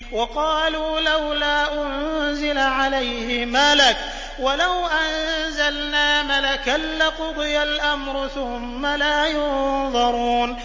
وَقَالُوا لَوْلَا أُنزِلَ عَلَيْهِ مَلَكٌ ۖ وَلَوْ أَنزَلْنَا مَلَكًا لَّقُضِيَ الْأَمْرُ ثُمَّ لَا يُنظَرُونَ